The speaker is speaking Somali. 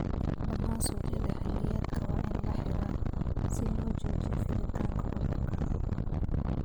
Dhammaan suuqyada xilliyeedka waa in la xiraa si loo joojiyo fiditaanka cudurka.